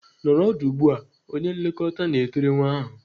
"Nọrọ ọdụ ugbu a!" Onye nlekọta na-etiri nwa ahụ.